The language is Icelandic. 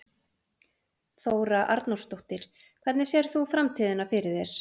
Þóra Arnórsdóttir: Hvernig sérð þú framtíðina fyrir þér?